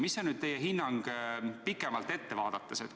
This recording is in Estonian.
Milline on teie hinnang pikemalt ette vaadates?